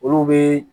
Olu bɛ